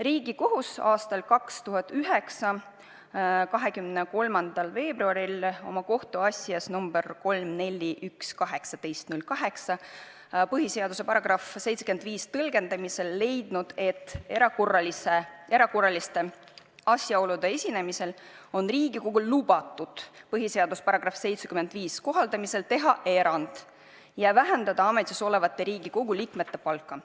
Riigikohus on aastal 2009 23. veebruaril oma kohtuasjas number 3-4-1-18-08 põhiseaduse § 75 tõlgendamisel leidnud, et erakorraliste asjaolude esinemisel on Riigikogul lubatud põhiseaduse § 75 kohaldamisel teha erand ja vähendada ametisolevate Riigikogu liikmete palka.